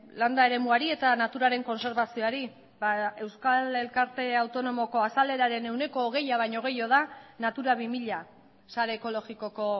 landa eremuari eta naturaren kontserbazioari ba euskal elkarte autonomoko azaleraren ehuneko hogeia baino gehiago da natura bi mila sare ekologikoko